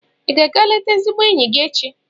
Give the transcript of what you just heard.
Ị ga-aga eleta ezigbo enyi gị echi?